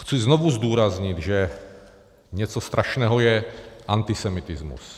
Chci znovu zdůraznit, že něco strašného je antisemitismus.